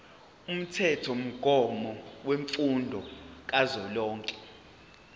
umthethomgomo wemfundo kazwelonke